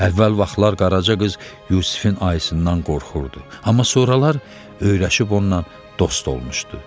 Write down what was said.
Əvvəl vaxtlar Qaraca qız Yusifin ayısından qorxurdu, amma sonralar öyrəşib onunla dost olmuşdu.